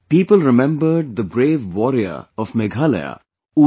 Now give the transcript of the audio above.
People remembered the brave warrior of Meghalaya U